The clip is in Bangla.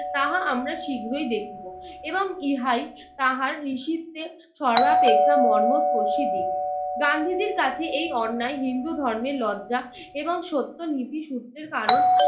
তাহা আমরা শীঘ্রই দেখিব। এবং ইহাই তাহার ঋষিত্বের সর্বাপেক্ষা মর্মস্পর্শী দিক। গান্ধীজির কাছে এই অন্যায় হিন্দু ধর্মের লজ্জা এবং সত্য নীতি সূত্রের কারণ।